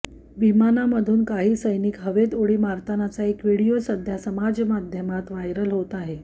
विमानामधून काही सैनिक हवेत उडी मारतानाचा एक व्हिडिओ सध्या समाजमाध्यमात व्हायरल होत आहे